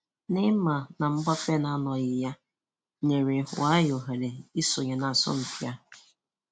Neymar na Mbappe na-anọghị ya nyere Weah ohere isonye n'asọmpi a.